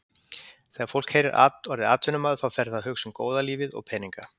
Þegar fólk heyrir orðið atvinnumaður þá fer það að hugsa um góða lífið og peninga.